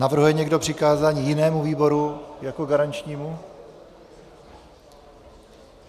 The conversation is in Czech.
Navrhuje někdo přikázání jinému výboru jako garančnímu?